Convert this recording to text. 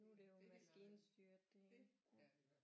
Nu er det jo maskinstyret det hele